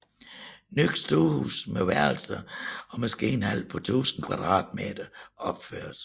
Nyt stuehus med værelser og maskinhal på 1000 m2 opføres